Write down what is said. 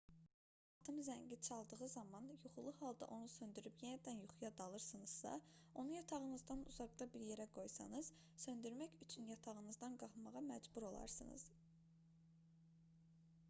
əgər saatın zəngi çaldığı zaman yuxulu halda onu söndürüb yenidən yuxuya dalırsınızsa onu yatağınızdan uzaqda bir yerə qoysanız söndürmək üçün yatağınızdan qalxmağa məcbur olarsınız